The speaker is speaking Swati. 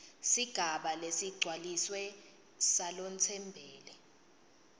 sigaba lesigcwalisiwe salotsembele